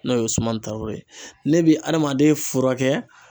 N'o ye suma taw ye ne bɛ adamaden furakɛ.